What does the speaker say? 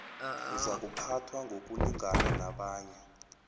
uzakuphathwa ngokulingana nabanye